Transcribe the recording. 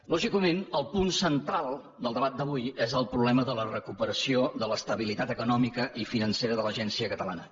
lògicament el punt central del debat d’avui és el problema de la recuperació de l’estabilitat econòmica i financera de l’agència catalana